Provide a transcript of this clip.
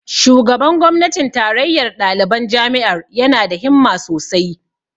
Shugaban gwamnatin tarayyar ɗaliban jami'ar ya na da himma sosai